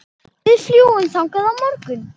Við fljúgum þangað á morgun.